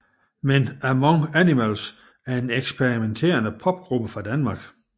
Men Among Animals er en eksperimenterende popgruppe fra Danmark